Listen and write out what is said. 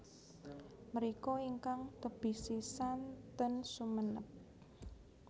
Mriko ingkang tebih sisan ten Sumenep